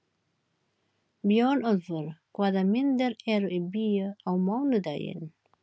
Björnólfur, hvaða myndir eru í bíó á mánudaginn?